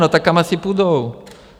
No tak kam asi půjdou?